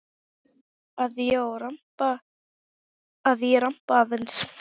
Að ég ramba aðeins.